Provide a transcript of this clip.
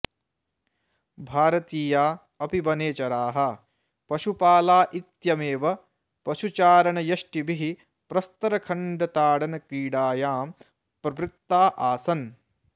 भारतीया अपि वनेचराः पशुपाला इत्यमेव पशुचारणयष्टिभिः प्रस्तरखण्डताडनक्रीडायां प्रवृत्ता आसन्